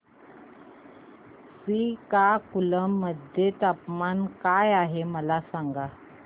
श्रीकाकुलम मध्ये तापमान काय आहे मला सांगा